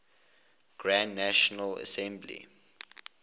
grand national assembly